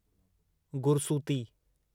गुरसूती